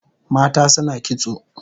Mata suna kitso